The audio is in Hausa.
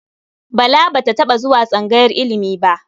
Bala ba taɓa zuwa tsangayar ilimi ba.